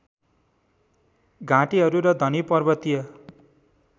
घाटिहरू र धनी पर्वतीय